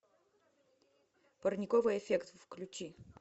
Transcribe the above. парниковый эффект включи